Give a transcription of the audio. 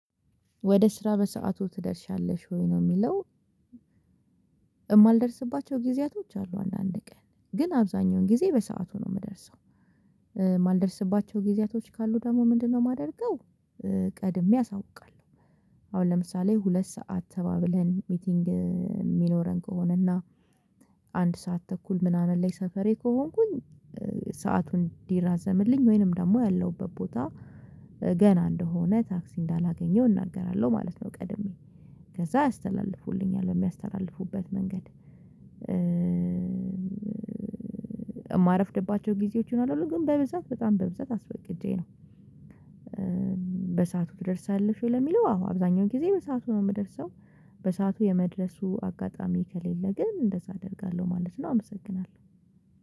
ወደ ስራ በሰአቱ ትደርሻለሽ ወይ? ነው የሚለው የማልደርስባቸው ጊዜያቶች አሉ አንዳንድ ቀን ግን አብዛኛውን ጊዜ በሰአቱ ነው የምደርሰው የማልደርስባቸው ጊዜያቶች ካሉ ደግሞ ምንድነው የማደርገው ቀድሜ አሳውቃለሁ አሁን ለምሳሌ ሁለት ሰዓት ተባብለን ሚቲንግ የሚኖረን ከሆነ እና አንድ ሰዓት ተኩል ምናምን ላይ ሰፈሬ ከሆንኩኝ ሰአቱን እንዲራዘምልኝ ወይንም ደግሞ ያለሁበት ቦታ ገና እንደሆነ ታክሲ እንዳላገኘው እናገራለሁ ማለት ነው ቀድሜ ከዛ አስተላልፉልኛል በሚያስተላልፉበት መንገድ የማረፍድባቸው ጊዜዎች ይኖራሉ ግን በብዛት በጣም በብዛት አስወቅጄ ነው። በሰአቱ ትደርሻለሽ ወይ ለሚለው አዎ አብዛኛውን ጊዜ በሰአቱ ነው የምደርሰው በሰአቱ የመድረሱ አጋጣሚ ከሌለ ግን እንደዛ አደርጋለሁ ማለት ነው አመሰግናለሁ።